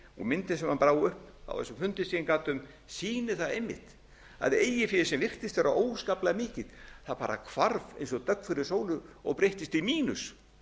myndin sem hann brá upp á þessum fundi sem ég gat um sýnir það einmitt að eigið féð sem virtist vera óskaplega mikið bara hvarf eins og dögg fyrir sólu og breyttist í mínus